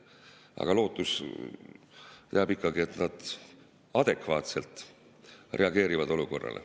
Aga lootus jääb ikkagi, et nad adekvaatselt reageerivad olukorrale.